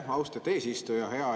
Aitäh, austet eesistuja!